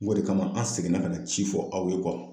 N go de kama an seginna ka na ci fɔ aw ye